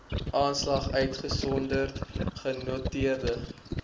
aanslag uitgesonderd genoteerde